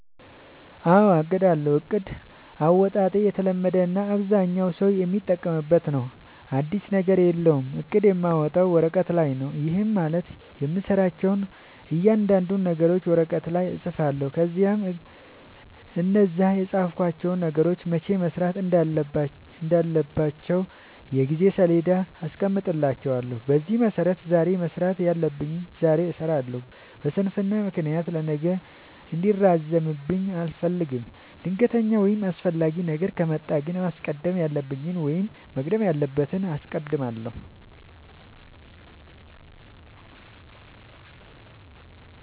አዎ አቅዳለሁ። እቅድ አወጣጤ የተለመደ እና አብዛኛው ሠው የሚጠቀምበት ነው። አዲስ ነገር የለውም። እቅድ የማወጣው ወረቀት ላይ ነው። ይህም ማለት የምሠራቸውን እያንዳንዱን ነገሮች ወረቀት ላይ እፅፋለሁ። ከዚያ እነዛን የፃፍኳቸውን ነገሮች መቼ መሠራት እንዳለባቸው የጊዜ ሠሌዳ አስቀምጥላቸዋለሁ። በዚያ መሠረት ዛሬ መስራት ያለብኝን ዛሬ እሠራለሁ። በስንፍና ምክንያት ለነገ እንዲራዘምብኝ አልፈልግም። ድንገተኛ ወይም አስፈላጊ ነገር ከመጣ ግን ማስቀደም ያለብኝን ወይም መቅደም ያለበትን አስቀድማለሁ።